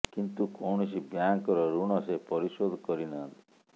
କିନ୍ତୁ କୌଣସି ବ୍ୟାଙ୍କର ଋଣ ସେ ପରିଶୋଧ କରି ନାହାନ୍ତି